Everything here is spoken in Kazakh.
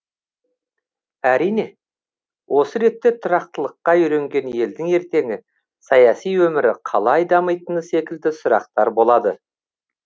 әрине осы ретте тұрақтылыққа үйренген елдің ертеңі саяси өмірі қалай дамитыны секілді сұрақтар болады